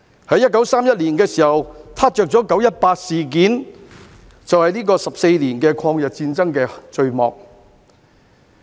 在1931年，"撻着""九一八"事件，這便是14年抗日戰爭的序幕。